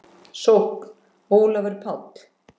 Sókn: Ólafur Páll